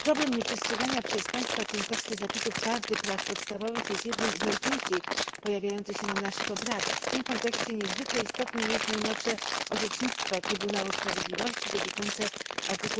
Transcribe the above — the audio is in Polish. Problem nieprzestrzegania przez państwa członkowskie zapisów Karty praw podstawowych jest jednym z najczęściej pojawiających się na naszych obradach. W tym kontekście niezwykle istotne jest najnowsze orzecznictwo Trybunału Sprawiedliwości dotyczące art.